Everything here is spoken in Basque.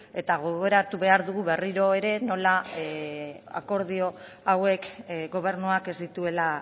eta gogoratu behar dugu behar dugu berriro ere nola akordio hauek gobernuak ez dituela